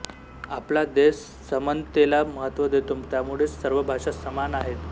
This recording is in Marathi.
आपला देश समनतेला महत्व देतो त्यामुळेच सर्व भाषा समान आहेत